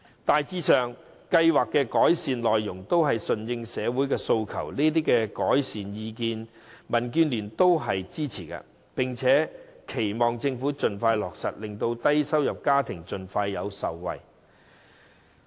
大致上，計劃的改善內容均順應社會訴求，這些改善建議，民建聯是支持的，亦期望政府盡快落實，令低收入家庭盡快受惠。